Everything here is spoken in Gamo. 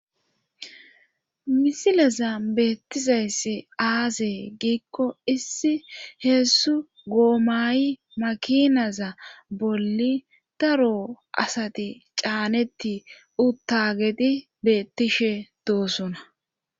Misileza beettizayss aase giikko issi heessu goomayi makinaza bolli daro asati caaneti uttagedi beettishe doosona.